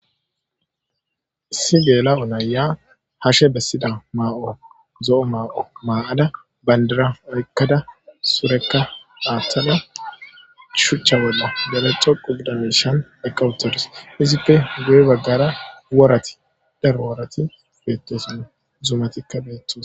Issi geela7o nayya harshe bessida maa7o zo7o mao maa7ada bandira awykkada surekka dhaattala shuchcha bolla bare co qubdamishan eqqawutodus izippe guye baggara worati dharo woorati beettesan zumatikka beettos